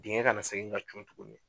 Digɛn ka na segin ka cun tuguni